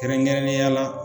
Kɛrɛnkɛrɛnnen ya la.